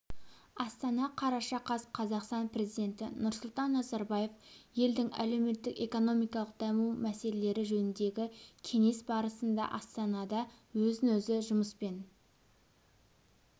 астана қараша қаз қазақстан президенті нұрсұлтан назарбаев елдің әлеуметтік-экономикалық даму мәселелері жөніндегі кеңес барысында астанадаөзін-өзі жұмыспен